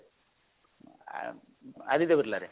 ଆ Aditya ବିର୍ଲାରେ